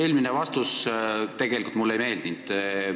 Eelmine vastus mulle tegelikult ei meeldinud.